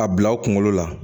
A bila aw kunkolo la